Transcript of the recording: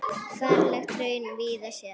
Ferlegt hraun þú víða sérð.